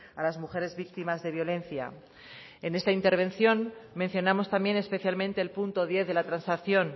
a las mujeres víctimas de violencia en esta intervención mencionamos también especialmente el punto diez de la transacción